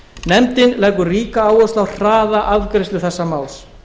nefndin leggur ríka áherslu á hraða afgreiðslu þessa máls